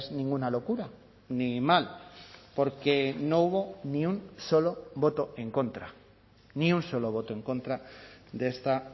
ninguna locura ni mal porque no hubo ni un solo voto en contra ni un solo voto en contra de esta